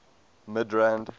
midrand